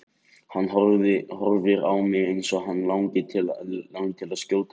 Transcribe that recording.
Hann horfir á mig eins og hann langi til að skjóta mig strax.